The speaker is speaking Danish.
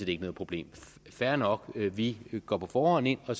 ikke noget problem fair nok vi går på forhånd ind og